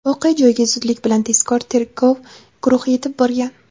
Voqea joyiga zudlik bilan tezkor tergov guruhi yetib borgan.